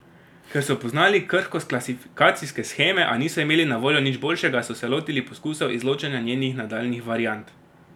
Ker so poznali krhkost klasifikacijske sheme, a niso imeli na voljo nič boljšega, so se lotili poskusov izločanja njenih nadaljnjih variant.